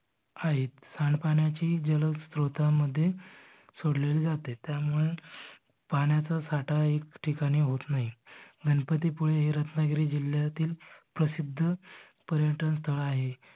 आहेत. पाण्याची जलश्रोतामध्ये सोडले जाते त्यामुळे पाण्याचा साठा एक ठिकाणी होत नाही गणपती पुळे हे रत्नागिरी जिल्ह्यातील प्रसिद्ध पर्यटन स्थळ आहे.